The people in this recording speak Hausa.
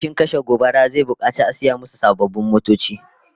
Ofishin kashe gobara zai bukaci a saya musu sababbin motoci